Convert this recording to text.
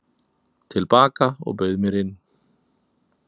til baka og bauð mér inn.